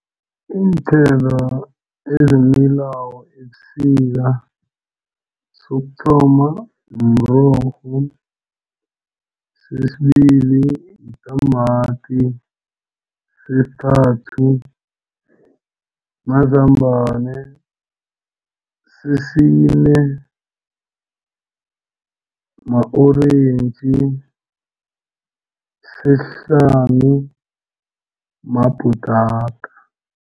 Iinthelo ezimilako ebusika sokuthoma mrorho, sesibili yitamati, sesithathu mazambana, sesine ma-orentji, sesihlanu mabhutata.